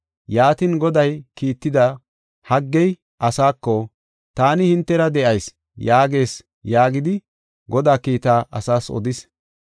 Yaatin, Goday kiitida Haggey asaako, “ ‘Taani hintera de7ayis’ yaagees” yaagidi Godaa kiitaa asaas odis.